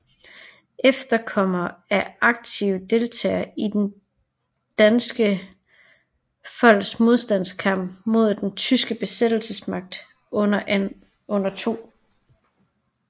Efterkommere af aktive deltagere i det danske folks modstandskamp mod den tyske besættelsesmagt under 2